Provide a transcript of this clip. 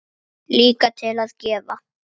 Líka til að gefa.